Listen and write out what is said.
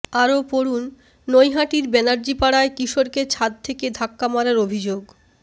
আরও পড়ুন নৈহাটির ব্যানার্জিপাড়ায় কিশোরকে ছাদ থেকে ধাক্কা মারার অভিযোগ